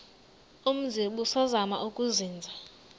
umzi ubusazema ukuzinza